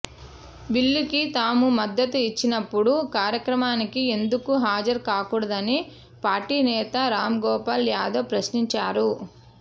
బిల్లుకి తాము మద్దతు ఇచ్చినప్పుడు కార్యక్రమానికి ఎందుకు హాజరు కాకూడదని పార్టీ నేత రాంగోపాల్ యాదవ్ ప్రశ్నించారు